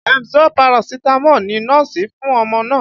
Emzor Paracetamol ni nọ́ọ̀sì fún ọmọ náà